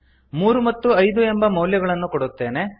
ಮೂರು ಮತ್ತು ಐದು ಎಂದು ಮೌಲ್ಯಗಳನ್ನು ಕೊಡುತ್ತೇನೆ